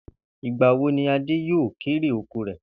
Ìgba wo ni Adé yóò kérè oko rè̩?